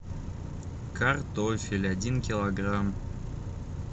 картофель один килограмм